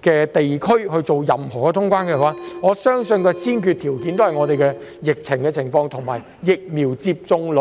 地區通關，我相信先決條件均繫於香港的疫情和疫苗接種率。